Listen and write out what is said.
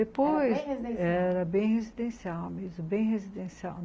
Depois, era bem residencial mesmo, bem residencial.